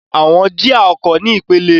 Àwọn jía ọkọ̀ ní ipele.